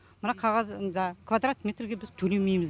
мына қағазда квадрат метрге біз төлемейміз